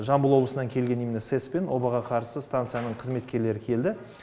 жамбыл облысынан келген именно сэс пен обаға қарсы станция қызметкерлері келді